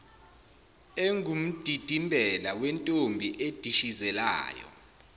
engumdidimbela wentombi edishizelayo